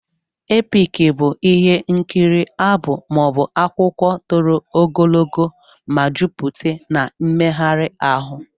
Epiki bụ ihe nkiri abụ, maọbu akwụkwụ tọrọ ogologo ma jụpute n'mmeghari ahụ.